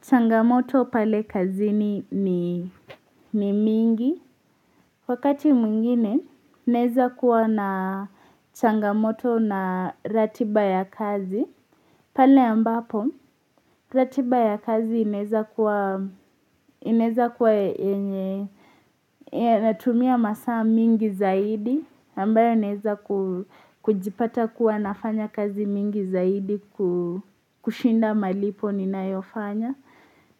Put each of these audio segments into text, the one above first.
Changamoto pale kazi ni mingi. Wakati mwingine, naweza kua na changamoto na ratiba ya kazi. Pale ambapo, ratiba ya kazi inaweza kua, inaweza kua yenye. Natumia masaa mingi zaidi, ambayo inaweza kujipata kua nafanya kazi mingi zaidi kushinda malipo ninayofanya.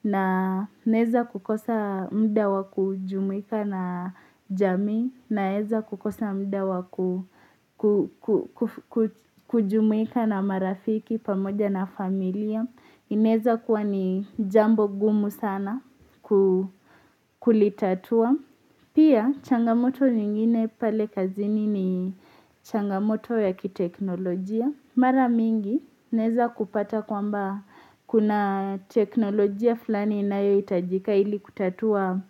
Na naweza kukosa muda wa kujumika na jamii naweza kukosa muda wa kujumika na marafiki pamoja na familia inaweza kua ni jambo ngumu sana kulitatua pia changamoto nyingine pale kazini ni changamoto ya kiteknolojia. Mara mingi unaweza kupata kwamba kuna teknolojia fulani inayohitajika ili kutatua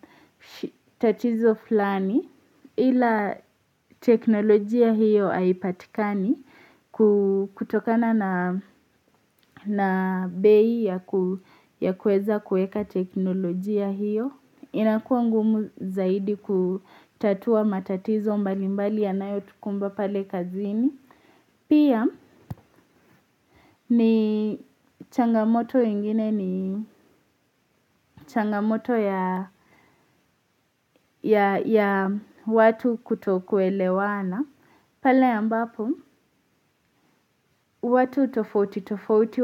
tatizo flani ila teknolojia hiyo haipatikani kutokana na bei ya kuweza kuweka teknolojia hiyo inakuwa ngumu zaidi kutatua matatizo mbalimbali yanayotukumba pale kazini Pia ni changamoto ingine ni changamoto ya ya watu kutokuelewana pale ambapo, watu tofauti tofauti,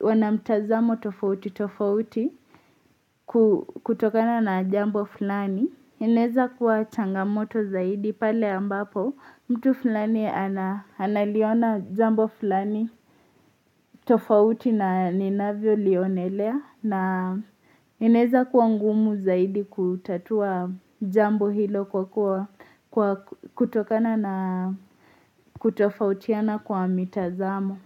wanamtazamo tofauti tofauti kutokana na jambo fulani Ineza kuwa changamoto zaidi pale ambapo mtu fulani analiona jambo fulani tofauti na ninavyo lionelea na inaweza kuwa ngumu zaidi kutatua jambo hilo kutokana na kutofautiana kwa mitazamo.